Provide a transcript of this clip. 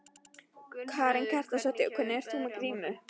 Karen Kjartansdóttir: Og hvers vegna ert þú með grímu?